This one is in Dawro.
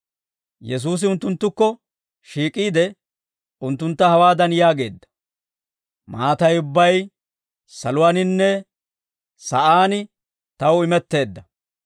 Yesuusi unttunttukko shiik'iide, unttuntta hawaadan yaageedda; «Maatay ubbay saluwaaninne sa'aan taw imetteedda.